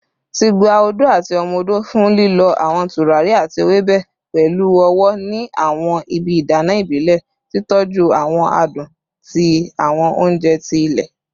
Ti gba odo ati omo odo fun lilọ awọn turari ati ewebe pẹlu ọwọ ni awọn ibi idana ibile, titọju awọn adun ti awọn ounjẹ ti ile